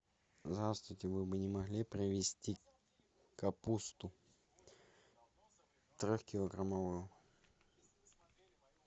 здравствуйте вы бы не могли привезти капусту трехкилограммовую